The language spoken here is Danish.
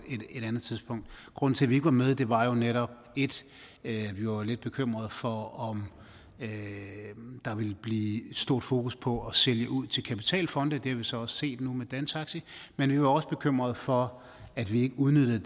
andet tidspunkt grunden til at vi ikke var med var jo netop at vi var lidt bekymret for om der ville blive et stort fokus på at sælge ud til kapitalfonde det har vi så også set nu med dantaxi men vi var også bekymret for at vi ikke udnyttede